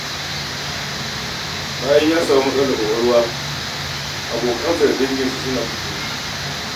Bayan ya samu matsalar ƙwaƙwalwa, abokai da danginsa sun guje masa.